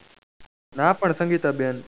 ના પણ સંગીતા બેન